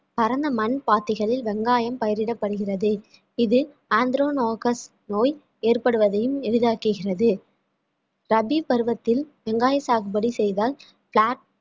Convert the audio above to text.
பரந்த மண் பாத்திகளில் வெங்காயம் பயிரிடப்படுகிறது இது anthrone agus நோய் ஏற்படுவதையும் எளிதாக்குகிறது ரபி பருவத்தில் வெங்காய சாகுபடி செய்தால் flat